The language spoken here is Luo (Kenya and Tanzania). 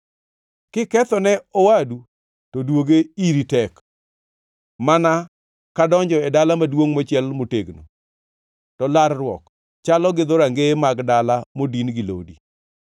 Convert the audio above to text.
Kiketho ne owadu to duoge iri tek mana kadonjo e dala maduongʼ mochiel motegno; to larruok chalo gi dhorangeye mag dala modin gi lodi.